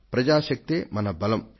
ప్రజాశక్తే మన బలం